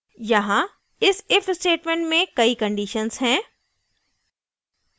यहाँ इस if statement में कई conditions हैं